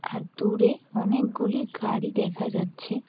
আর দূরে অনেক গুলি গাড়ি দেখা যাচ্ছে।